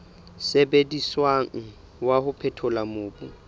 sebediswang wa ho phethola mobu